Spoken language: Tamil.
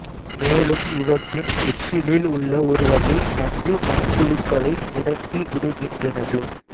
மேலும் இவற்றின் எச்சிலில் உள்ள ஒரு வகை நஞ்சு மண்புழுக்களை முடக்கி விடுகின்றனது